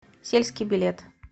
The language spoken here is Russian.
сельский билет